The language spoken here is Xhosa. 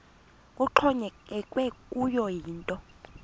kuxhonyekekwe kuyo yinto